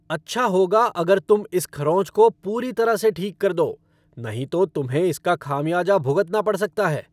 अच्छा होगा अगर तुम इस खरोंच को पूरी तरह से ठीक कर दो, नहीं तो तुम्हें इसका खामियाजा भुगतना पड़ सकता है!